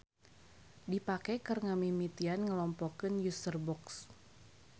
Dipake keur ngamimitian ngelompokeun userbox.